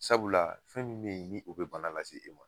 Sabula fɛn min bɛ ni o bɛ bana lase e ma